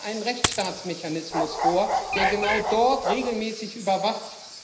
Legen Sie einen Rechtsstaatsmechanismus vor, der genau dort regelmäßig überwacht.